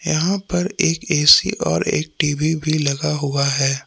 यहां पर एक ऐ_सी और एक टी_वी भी लगा हुआ है।